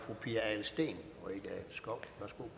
fru pia adelsteen